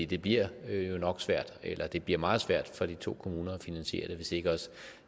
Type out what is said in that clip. det bliver jo nok svært eller det bliver meget svært for de to kommuner at finansiere det hvis ikke også